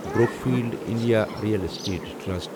Brookfield India real estate trust